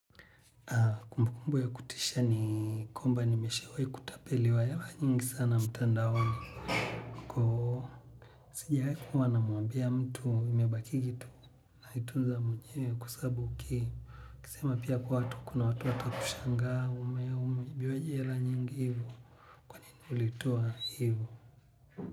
Kumbukumbu ya kutisha ni kwmba nimeshawahi kutapeliwa hela nyingi sana mtandaoni koo. Sijawahi kuwa namuambia mtu imebakigi tu naitunza mwenyewe kwa sababu uki kisema pia kwa watu kuna watu watakushangaa ume umeibiwaje hela nyingi hivo kwanini ulitoa hivyo.